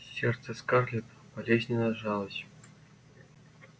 сердце скарлетт болезненно сжалось